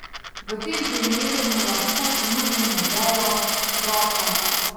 V tem primeru mu lahko ponudimo vejo, roko ...